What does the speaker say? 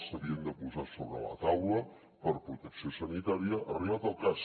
s’havien de posar sobre la taula per protecció sanitària arribat el cas